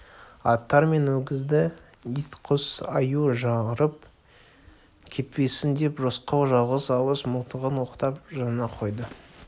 аттар мен өгізді ит-құс аю жарып кетпесін деп рысқұл жалғыз ауыз мылтығын оқтап жанына қойды